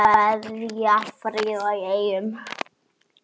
Kveðja, Fríða í Eyjum